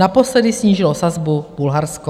Naposledy snížilo sazbu Bulharsko.